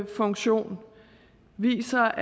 funktion viser